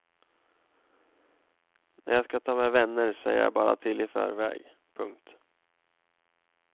När jag ska ta med vänner säger jag bara till i förväg. punkt